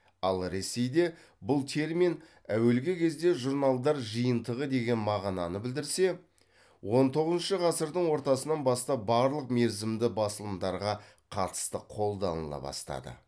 ал ресейде бұл термин әуелгі кезде журналдар жиынтығы деген мағынаны білдірсе он тоғызыншы ғасырдың ортасынан бастап барлық мерзімді басылымдарға қатысты қолданыла бастады